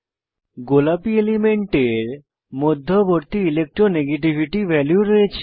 গোলাপী এলিমেন্টের মধ্যবর্তী ইলেকট্রো নেগেটিভিটি ভ্যালু রয়েছে